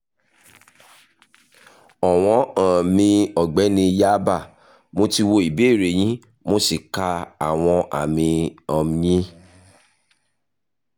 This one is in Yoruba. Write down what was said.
ọ̀wọ́n um mi ọ̀gbẹ́ni/yáàbá mo ti wo ìbéèrè yín mo sì ka àwọn àmì um yín